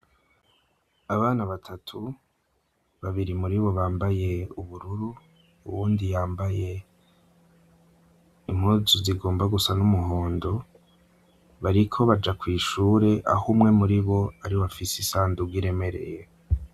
Abana batatu, babiri muri bo bambaye ubururu, uwundi yambaye impuzu zigomba gusa n'umuhondo; bariko baja kw’ishure, aho umwe muri bo ari we afise isandugu iremereye.